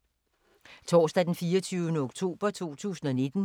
Torsdag d. 24. oktober 2019